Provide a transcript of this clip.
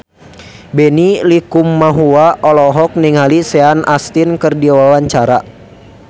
Benny Likumahua olohok ningali Sean Astin keur diwawancara